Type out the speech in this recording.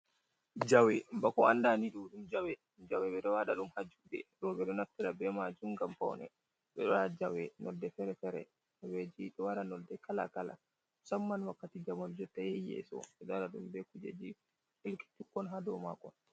Jawe bako anda ni ɗo ɗum jawe, jawe ɓe ɗo waɗa ɗum ha juɗe roɓɓe ɗo naftira be majum ngam pawne, ɓe ɗo waɗa jawe nonde fere-fere, jawe ji ɗo wara nolde kala kala, musamman wakkati jamanu jotta yahi yeso ɓe ɗo waɗa ɗum be kujeji ɗelki tokkon ha dou ma kon.